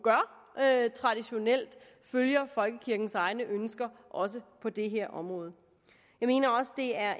traditionelt gør følger folkekirkens egne ønsker også på det her område jeg mener også det er